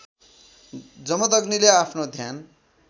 जमदग्नीले आफ्नो ध्यान